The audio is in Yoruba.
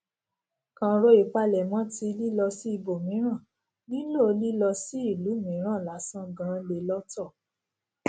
kàn ro ìpalẹmọ tí lílọ sí ibòmíràn nílò lílọ sí ìlú mìíràn lásán gan le lọtọ